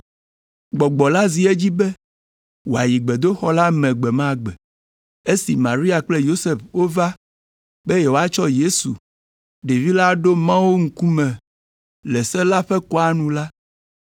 Gbɔgbɔ la zi edzi be wòayi gbedoxɔ la me gbe ma gbe. Esi Maria kple Yosef wova be yewoatsɔ Yesu, ɖevi la aɖo Mawu ŋkume le se la ƒe kɔa nu la,